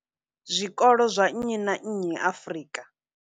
zwikolo zwa nnyi na nnyi Afrika.